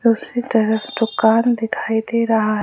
उसी तरफ दुकान दिखाई दे रहा है।